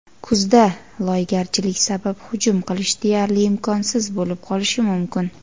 Kuzda loygarchilik sabab hujum qilish deyarli imkonsiz bo‘lib qolishi mumkin.